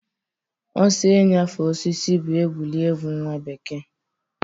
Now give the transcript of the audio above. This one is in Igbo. Ọsọ inyefe osisi bụ egwuregwu nwa bekee.